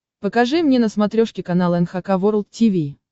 покажи мне на смотрешке канал эн эйч кей волд ти ви